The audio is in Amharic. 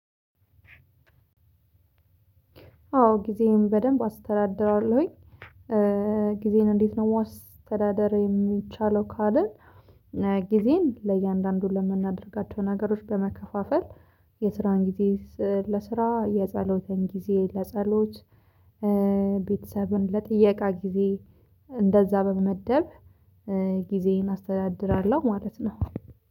አዎ ጊዜን በደንብ አስተዳድራለሁኝ። ጊዜን እንዴት ነው መዋስተዳደር የሚቻለው ካልን። ጊዜን ለእያንዳንዱ ለምናደርጋቸው ነገሮች በመከፋፈል የስራን ጊዜ ለስራ የጸሎትን ጊዜ ለጸሎት። ቤተሰብን ለጥያቄ ጊዜ እንደዛ በመመደብ ጊዜን አስተዳድራለሁ ማለት ነው